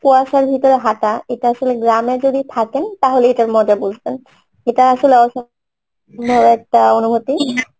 কুয়াশার ভিতরে হাঁটা এটা আসলে গ্রামে যদি থাকেন তাহলে এইটার মজা বুঝবেন এটা আসলে একটা অনুভুতি